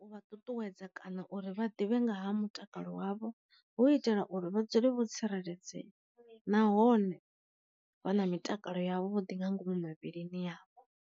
U vha ṱuṱuwedza kana uri vha ḓivhe nga ha mutakalo wavho, hu itela uri vha dzule vho tsireledzea nahone vha na mitakalo ya vhuḓi nga ngomu mivhilini yavho.